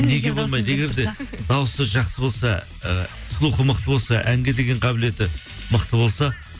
неге болмайды егер де дауысы жақсы болса ы слухы мықты болса әнге деген қабілеті мықты болса